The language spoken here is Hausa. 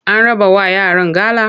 An rabawa yaran gala?